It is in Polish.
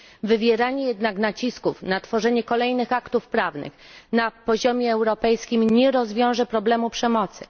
Wywieranie jednak nacisków na tworzenie kolejnych aktów prawnych na poziomie europejskim nie rozwiąże problemu przemocy.